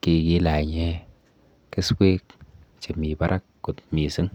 kikilanye keswek chemi barak kot mising.